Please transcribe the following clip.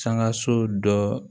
Sankaso dɔ